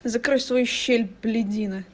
ты закрой свою щель блядина